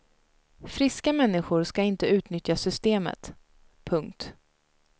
Friska människor ska inte utnyttja systemet. punkt